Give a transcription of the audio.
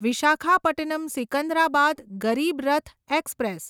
Visakhapatnam Secunderabad Garib Rath express